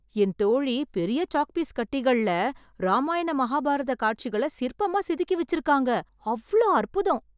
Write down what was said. என் தோழி பெரிய சாக்பீஸ் கட்டிகள்ல ராமாயண மஹாபாரத காட்சிகளை சிற்பமாக செதுக்கி வெச்சிருக்காங்க... அவ்ளோ அற்புதம்...